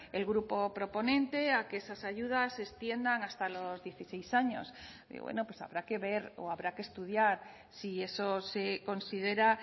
el grupo proponente a que esas ayudas se extiendan hasta los dieciséis años bueno pues habrá que ver o habrá que estudiar si eso se considera